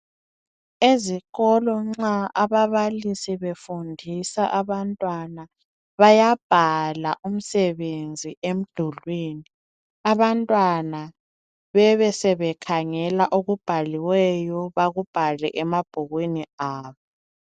Ezikolweni nxa ababalisi befundisa abantwana bayabhala umsebenzi emdulwini abantwana bebe sebekhangela okubhaliweyo bakubhale emabhukwini abo.